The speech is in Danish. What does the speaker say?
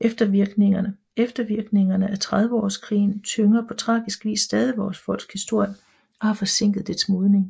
Eftervirkningerne af Trediveårskrigen tynger på tragisk vis stadig vores folks historie og har forsinket dets modning